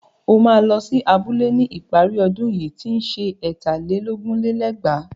O máa lọ sí abúlé ní ìparí ọdún yìí tí ń ṣe ẹ̀tà lé lógún lé lẹ́gbàá.